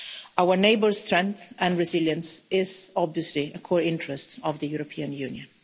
Our neighbours' strength and resilience is obviously a core interest of the European Union.